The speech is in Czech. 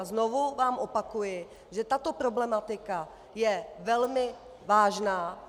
A znovu vám opakuji, že tato problematika je velmi vážná.